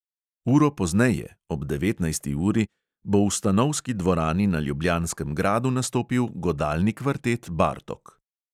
Uro pozneje (ob devetnajsti uri) bo v stanovski dvorani na ljubljanskem gradu nastopil godalni kvartet bartok.